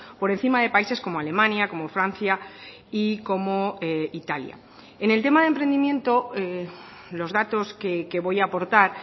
por encima de países como alemania como francia y como italia en el tema de emprendimiento los datos que voy a aportar